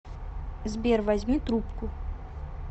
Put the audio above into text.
сбер возьми трубку